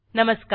नमस्कार